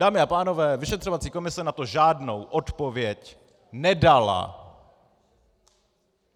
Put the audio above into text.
Dámy a pánové, vyšetřovací komise na to žádnou odpověď nedala.